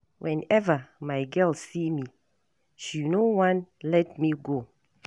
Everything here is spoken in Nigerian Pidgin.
Whenever my girl see me, she no wan let me go.